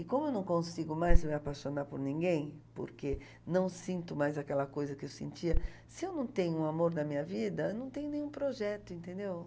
E como eu não consigo mais me apaixonar por ninguém, porque não sinto mais aquela coisa que eu sentia, se eu não tenho um amor na minha vida, eu não tenho nenhum projeto, entendeu?